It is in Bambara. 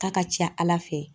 K'a ka ca ala fɛ.